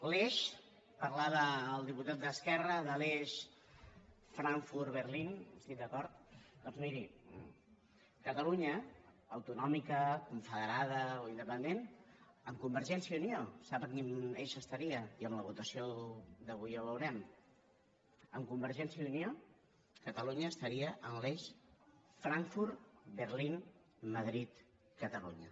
l’eix en parlava el diputat d’esquerra de l’eix frankfurt berlín estic d’acord doncs miri catalunya autonòmica confederada o independent amb convergència i unió sap a quin eix estaria i amb la votació d’avui ja ho veurem amb convergència i unió catalunya estaria en l’eix frankfurt berlín madrid catalunya